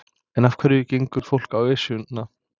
En af hverju gengur fólk á Esjuna?